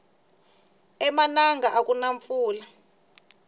emananga akuna mpfula